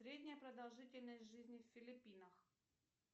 средняя продолжительность жизни в филиппинах